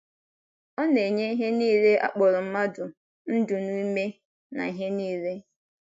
Ọ na - enye ihe nile a kpọrọ mmadụ “ ndụ na ume na ihe nile. ”